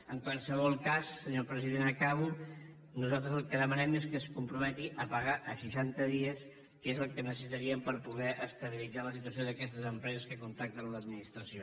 en qualsevol cas senyor president acabo nosaltres el que demanem és que es comprometi a pagar a seixanta dies que és el que necessitaríem per poder estabilitzar la situació d’aquestes empreses que contacten amb l’administració